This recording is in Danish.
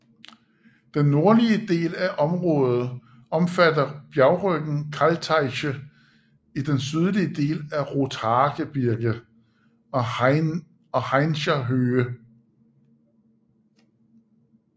Den nordlige del af området omfatter bjergryggen Kalteiche i den sydlige del af Rothaargebirge og Haincher Höhe